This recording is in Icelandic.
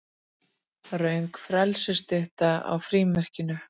Röng frelsisstytta á frímerkinu